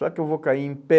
Só que eu vou cair em pé,